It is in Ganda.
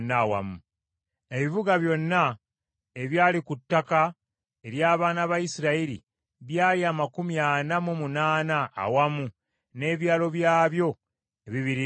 Ebibuga byonna ebyali ku ttaka ery’abaana ba Isirayiri byali amakumi ana mu munaana awamu n’ebyalo byabyo ebibiriraanye.